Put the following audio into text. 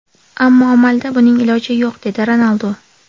Ammo amalda buning iloji yo‘q”, dedi Ronaldu.